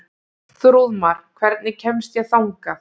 Þrúðmar, hvernig kemst ég þangað?